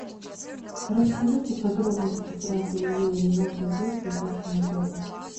расскажите подробности про ателье и ремонт одежды в вашем отеле